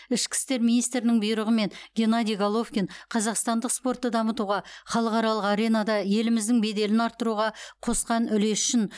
ішкі істер министрінің бұйрығымен геннадий головкин қазақстандық спортты дамытуға халықаралық аренада еліміздің беделін арттыруға қосқан үлесі үшін